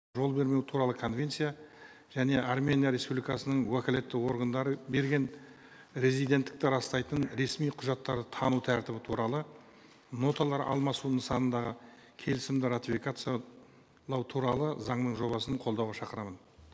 жол бермеу туралы конвенция және армения республикасының уәкілетті органдары берген резиденттікті растайтын ресми құжаттар тану тәртібі туралы ноталар алмасу нысанындағы келісімді ратификациялау туралы заңның жобасын қолдауға шақырамын